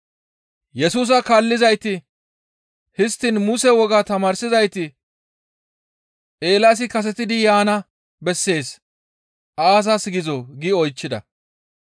Yesusa kaallizayti, «Histtiin Muse woga tamaarsizayti, Eelaasi kasetidi yaana bessees aazas gizoo?» gi oychchida.